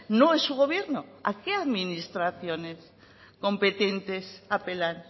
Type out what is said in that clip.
no es su gobierno a qué administraciones competentes apelan